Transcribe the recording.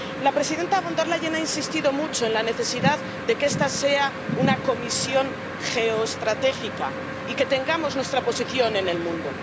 La presidenta Von der Leyen ha insistido mucho en la necesidad de que esta sea una Comisión geoestratégica y de que tengamos nuestra posición en el mundo.